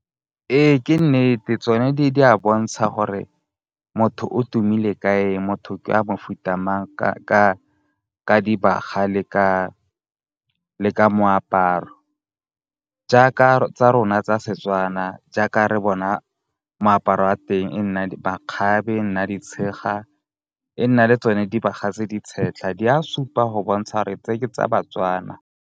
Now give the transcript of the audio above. Ee, ke nnete tsone di a bontsha gore motho o tumile ka eng, motho ke wa mofuta mang ka di baga le ka moaparo. Jaaka tsa rona tsa Setswana, jaaka re bona moaparo wa teng e nna makgabe, e nna ditshega, e nna le tsone dibaga tse di tshetlha. Di a supa go bontsha 'ore tse ke tsa ba-Tswana.